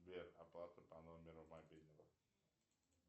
сбер оплата по номеру мобильного